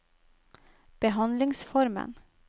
behandlingsformen